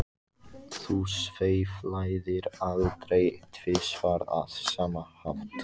Þú sveiflaðir aldrei tvisvar á sama hátt.